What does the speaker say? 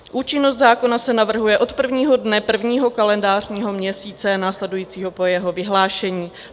Účinnost zákona se navrhuje od prvního dne prvního kalendářního měsíce následujícího po jeho vyhlášení.